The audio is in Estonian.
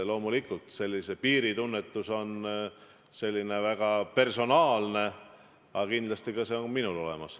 Loomulikult, piiri tunnetus on väga personaalne, aga kindlasti on see ka minul olemas.